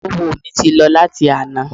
Oówo mi ti lọ láti àná